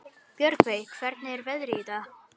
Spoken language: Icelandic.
Björgey, hvernig er veðrið í dag?